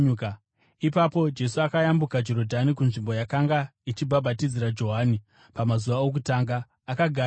Ipapo Jesu akayambuka Jorodhani kunzvimbo yakanga ichibhabhatidzira Johani pamazuva okutanga. Akagara ikoko